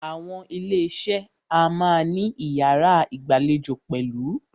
Àwọn ilé iṣé a máà ní iyàrá ìgbàlejò pẹ̀lú.